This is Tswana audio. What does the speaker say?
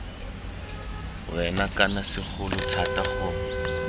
wena kana segolo thata gongwe